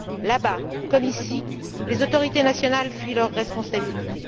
Là bas, comme ici, les autorités nationales fuient leurs responsabilités.